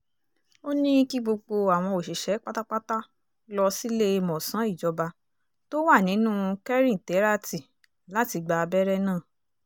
ó ní kí gbogbo àwọn òṣìṣẹ́ pátápátá lọ síléemọ̀sán ìjọba tó wà nínú kẹ́rìntéràtì láti gba abẹ́rẹ́ náà